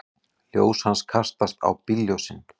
Ljós hans kastast á bílljósin.